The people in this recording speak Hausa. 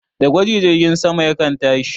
Da gwaji jirgin sama yakan tashi